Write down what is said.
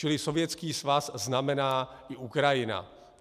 Čili Sovětský svaz znamená i Ukrajina.